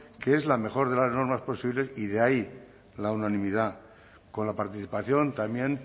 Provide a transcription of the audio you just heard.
que es la mejor de las normas posibles y de ahí la unanimidad con la participación también